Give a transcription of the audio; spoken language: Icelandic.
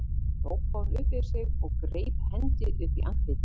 hrópaði hún upp yfir sig og greip hendi upp í andlitið.